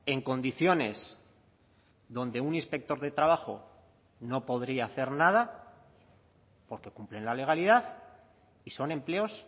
en condiciones donde un inspector de trabajo no podría hacer nada porque cumplen la legalidad y son empleos